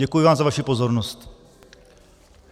Děkuji vám za vaši pozornost.